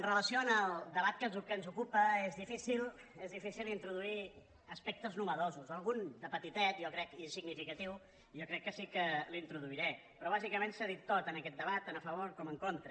amb relació al debat que ens ocupa és difícil és difícil introduir aspectes nous algun de petitet i significatiu jo crec que sí que l’introduiré però bàsicament s’ha dit tot en aquest debat tant a favor com en contra